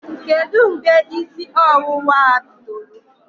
Kedụ mgbe ísí ọwụwạ a bidoro?